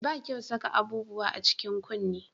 Ba kyau saka abubuwan a cikin kunne